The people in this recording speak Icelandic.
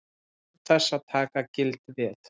Án þess að taka gild veð.